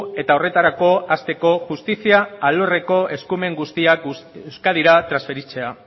eta horretarako hasteko justizia alorreko eskumen guztiak euskadira transferitzea